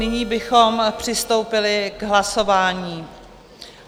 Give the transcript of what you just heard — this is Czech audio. Nyní bychom přistoupili k hlasování.